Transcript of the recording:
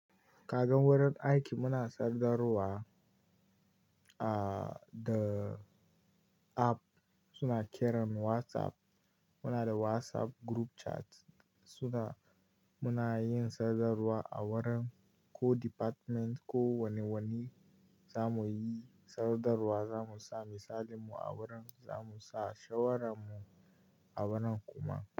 Kagan wurin aiki muna sadarwa a da app suna kiran WhatsApp. Muna da WhatsApp group chat suna muna yin sadarwa a wurin ko department ko wane wani za mu yi sadarwa, za mu sa misalinmu a wurin, za mu sa shawaranmu a wurin kuma.